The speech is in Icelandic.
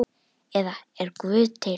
eða Er Guð til?